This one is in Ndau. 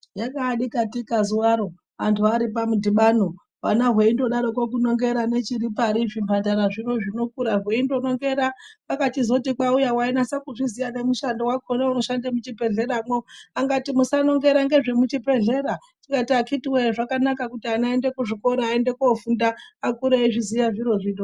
Yaka dikatika zuvaro antu ari pamu dhibano hwana hwei ndo daroko kunongera ne chiri pari zvi mandara zvino zvino kura hweindo nongera kwaka chizoto kwauya wainasa kuziya ne mushando wakona uno shande mu chibhedhlera mwo angati musa nongera nezve mu chibhedhlera tikati akitii weee zvakanaka kuti ana ayende ku zvikora ayende kofunda akure eyi zviziya zviro zvino.